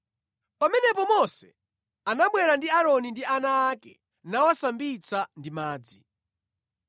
Pamenepo Mose anabwera ndi Aaroni ndi ana ake nawasambitsa ndi madzi.